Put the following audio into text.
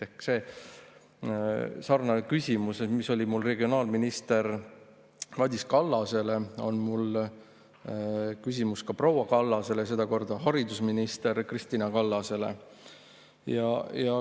Ehk sarnane küsimus, mis oli mul regionaalminister Madis Kallasele, on mul ka proua Kallasele, sedakorda haridusminister Kristina Kallasele.